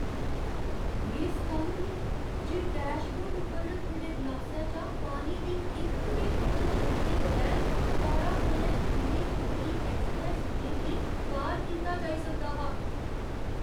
में सटन्न ही जे डैशबोर्ड उप्पर रक्खे दे ग्लासै चा पानी दी इक बी बूंद छलके बगैर कारा कन्नै दिल्ली मुंबई ऐक्सप्रैस्स वेऽ गी पार कीता जाई सकदा हा।